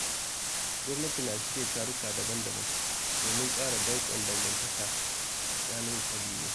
Gwamnati na shirya taruka daban-daban domin ƙara danƙon dangantaka tsakani ƙabilu.